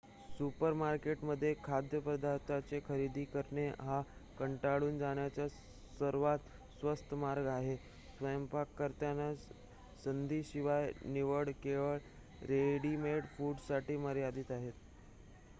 सुपरमार्केटमध्ये खाद्यपदार्थांची खरेदी करणे हा कंटाळून जाण्याचा सर्वात स्वस्त मार्ग आहे स्वयंपाक करण्याच्या संधीशिवाय निवडी केवळ रेडिमेड फूडसाठी मर्यादित आहेत